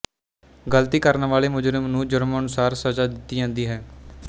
ਗਲਤੀ ਕਰਨ ਵਾਲੇ ਮੁਜ਼ਰਮ ਨੂੰ ਜ਼ੁਰਮ ਅਨੁਸਾਰ ਸਜ਼ਾ ਦਿੱਤੀ ਜਾਂਦੀ ਹੈ